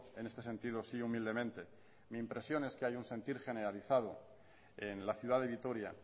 en este sentido si humildemente es que hay un sentir generalizado en la ciudad de vitoria